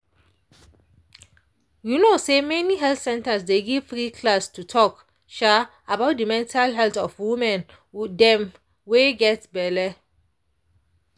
you no say many health centers dey give free class to talk um about de mental health of women them wey get belle